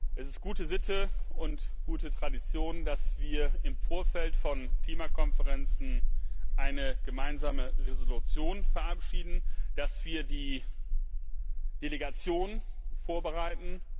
Es ist gute Sitte und gute Tradition, dass wir im Vorfeld von Klimakonferenzen eine Gemeinsame Entschließung verabschieden, dass wir die Delegation vorbereiten.